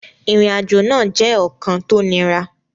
Ìrìnàjò náà jẹ́ ọ̀kan tó niran